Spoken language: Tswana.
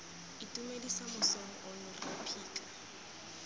itumedisa mosong ono rre phika